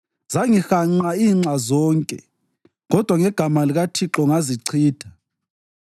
Zangihanqa inxa zonke kodwa ngegama likaThixo ngazichitha.